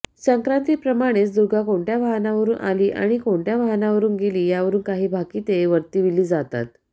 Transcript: संक्रातीप्रमाणेच दुर्गा कोणत्या वाहनावरून आली आणि कोणत्या वाहनावरून गेली यावरून कांही भाकिते वर्तविली जातात